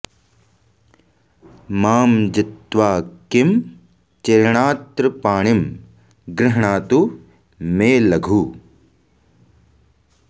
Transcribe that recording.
मां जित्वा किं चिरेणात्र पाणिं गृह्णातु मे लघु